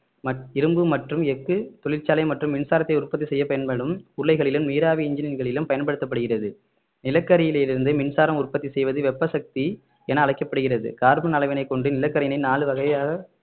மற்~ இரும்பு மற்றும் எஃகு தொழிற்சாலை மற்றும் மின்சாரத்தை உற்பத்தி செய்ய பயன்படும் உருளைகளிலும் நீராவி இன்ஜின்களிலும் பயன்படுத்தப்படுகிறது நிலக்கரியில் இருந்து மின்சாரம் உற்பத்தி செய்வது வெப்ப சக்தி என அழைக்கப்படுகிறது கார்பன் அளவினை கொண்டு நிலக்கரியினை நாலு வகையாக